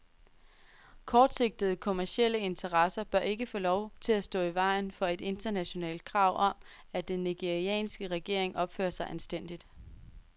Kortsigtede kommercielle interesser bør ikke få lov til at stå i vejen for et internationalt krav om, at den nigerianske regering opfører sig anstændigt.